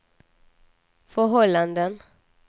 förhållanden